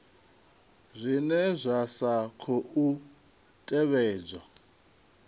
zwine zwa sa khou tevhedza